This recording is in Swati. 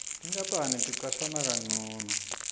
tinkapani ticashana kancono